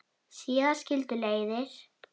Síðar skildu leiðir.